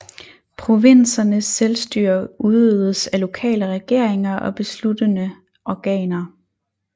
Provinsernes selvstyre udøvedes af lokale regeringer og besluttende organer